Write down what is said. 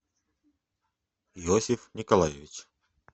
иосиф николаевич